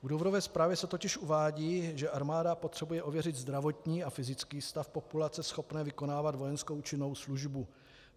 V důvodové zprávě se totiž uvádí, že armáda potřebuje ověřit zdravotní a fyzický stav populace schopné vykonávat vojenskou činnou službu.